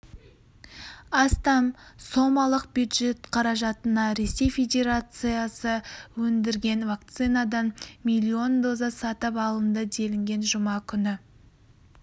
астам сомалық бюджет қаражатына ресей федерациясы өндірген вакцинадан миллион доза сатып алынды делінген жұма күні